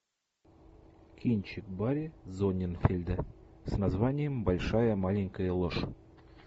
кинчик барри зонненфельда с названием большая маленькая ложь